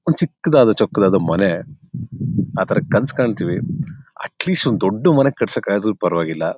ಒಂದು ಚಿಕ್ಕದಾದ ಚೊಕ್ಕದಾದ ಮನೆ ಆ ತಾರಾ ಕನಸು ಕಾಣುತ್ತೀವಿ ಅಟ್ಲಿಸ್ಟ್ ಒಂದು ದೊಡ್ಡ ಮನೆ ಕಟ್ಟಿಸಕ್ಕಾದರೂ ಪರವಾಗಿಲ್ಲಾ--